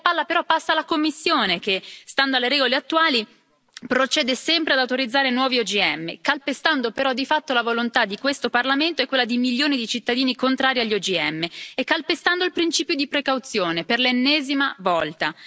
La palla però passa alla Commissione che, stando alle regole attuali, procede sempre ad autorizzare nuovi OGM, calpestando però di fatto la volontà di questo Parlamento e quella di milioni di cittadini contrari agli OGM e calpestando il principio di precauzione, per l'ennesima volta.